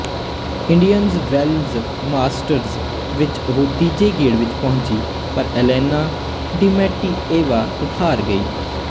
Indian Wells Masters ਵਿੱਚ ਉਹ ਤੀਜੇ ਗੇੜ ਵਿੱਚ ਪਹੁੰਚੀ ਪਰ ਏਲੇਨਾ ਡਿਮੈਂਟਿਏਵਾ ਤੋਂ ਹਾਰ ਗਈ